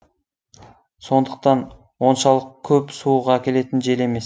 сондықтан оншалық көп суық әкелетін жел емес